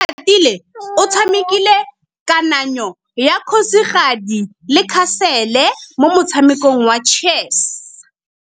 Oratile o tshamekile kananyô ya kgosigadi le khasêlê mo motshamekong wa chess.